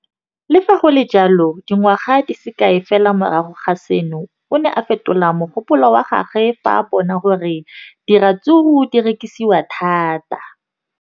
Le fa go le jalo, dingwaga di se kae fela morago ga seno, o ne a fetola mogopolo wa gagwe fa a bona gore diratsuru di rekisiwa thata.